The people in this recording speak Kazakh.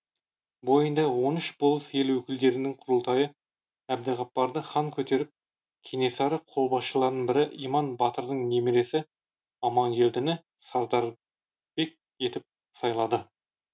бойында он үш болыс ел өкілдерінің құрылтайы әбдіғапарды хан көтеріп кенесары қолбасшыларының бірі иман батырдың немересі амангелдіні сардарбек етіп сайлады